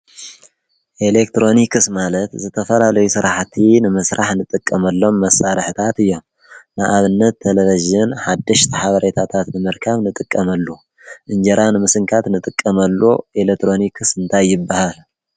ኤሌክትሮኒክስ ማለት ዝተፈላለዩ ስራሕቲ ንምሥራሕ ንጥቀመሎም መሣረሕታት እየን። ንኣብነት ተሌቭዥን ሓድሽቲ ሓበሬታታት ንምርካብ ንጥቀመሉ፣ እንጀራ ንምስንካት ንጥቀመሉ ኤለትሮኒክስ እንታይበሃል?